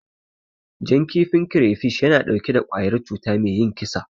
Jan kifin kirefish yana ɗauke da ƙwayar cuta me yin kisa.